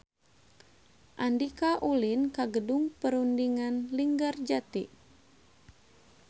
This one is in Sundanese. Andika ulin ka Gedung Perundingan Linggarjati